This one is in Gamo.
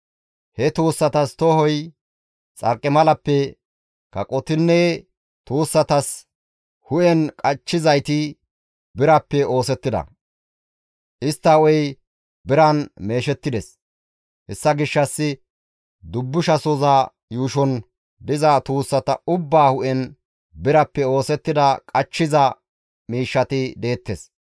He tuussatas tohoy xarqimalappe, kaqotinne tuussatas hu7en qachchizayti birappe oosettida; istta hu7ey biran meeshettides. Hessa gishshas dubbushasoza yuushon diza tuussata ubbaa hu7en birappe oosettida qachchiza miishshati deettes.